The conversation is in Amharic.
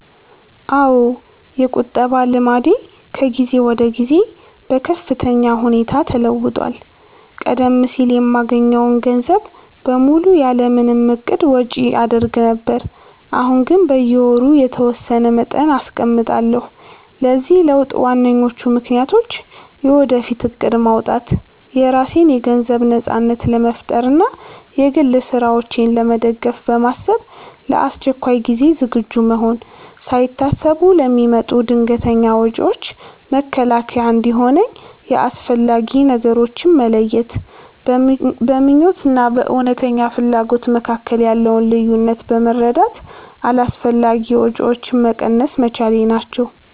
አዎ፣ የቁጠባ ልምዴ ከጊዜ ወደ ጊዜ በከፍተኛ ሁኔታ ተለውጧል። ቀደም ሲል የማገኘውን ገንዘብ በሙሉ ያለ ምንም እቅድ ወጪ አደርግ ነበር፤ አሁን ግን በየወሩ የተወሰነ መጠን አስቀምጣለሁ። ለዚህ ለውጥ ዋነኞቹ ምክንያቶች፦ የወደፊት እቅድ ማውጣት፦ የራሴን የገንዘብ ነጻነት ለመፍጠር እና የግል ስራዎቼን ለመደገፍ በማሰብ፣ ለአስቸኳይ ጊዜ ዝግጁ መሆን፦ ሳይታሰቡ ለሚመጡ ድንገተኛ ወጪዎች መከላከያ እንዲሆነኝ፣ የአስፈላጊ ነገሮች መለየት፦ በምኞት እና በእውነተኛ ፍላጎት መካከል ያለውን ልዩነት በመረዳት አላስፈላጊ ወጪዎችን መቀነስ መቻሌ ናቸው።